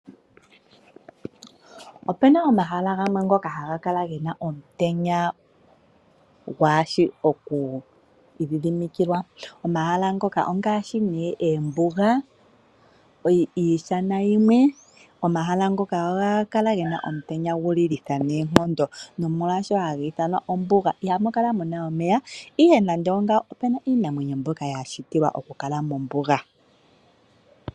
Opuna omahala gamwe ngoka haga kala gena omutenya gwaashi oku idhidhimikilwa, omahala ngoka ongaashi ne eembuga, iishana yimwe. Omahala ngano ohaga kala gena omutenya gu lilitha noonkondo molwaashono haga ithanwa ombuga. Ihamu kala muna omeya, ihe nande ongawo opuna iimeno mbyoka ya shitilwa oku kala mombuga.